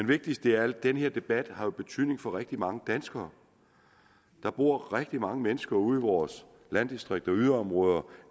vigtigste er at den her debat jo har betydning for rigtig mange danskere der bor rigtig mange mennesker ude i vores landdistrikter og yderområder